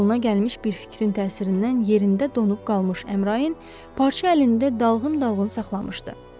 qoluna gəlmiş bir fikrin təsirindən yerində donub qalmış Əmrain parça əlində dalğın-dalğın saxlamışdı.